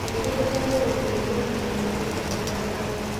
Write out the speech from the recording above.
Ningĩ nĩ megũgũteithia kũgĩa na gĩkeno na thayũ.